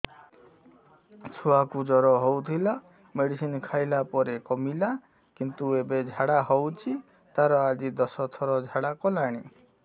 ଛୁଆ କୁ ଜର ହଉଥିଲା ମେଡିସିନ ଖାଇଲା ପରେ କମିଲା କିନ୍ତୁ ଏବେ ଝାଡା ହଉଚି ତାର ଆଜି ଦଶ ଥର ଝାଡା କଲାଣି